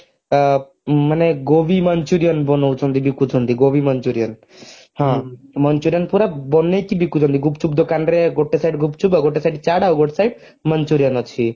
ମାନେ ଗୋବୀ manchurian ବନାଉଛନ୍ତି ବିକୁଛନ୍ତି ଗୋବୀ manchurian manchurian ପୁରା ବନେଇକି ବିକୁଛନ୍ତି ଗୁପଚୁପ ଦୋକାନରେ ଗୋଟେ side ଗୁପଚୁପ ଆଉ ଗୋଟେ side ଛାତ ଆଉ ଗୋଟେ side manchurian ଅଛି